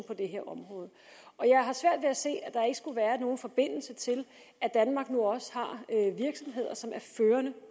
på det her område jeg har svært ved at se at der ikke skulle være nogen forbindelse til at danmark nu også har virksomheder som er førende